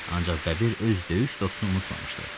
Ancaq Bəbir öz döyüş dostunu unutmamışdı.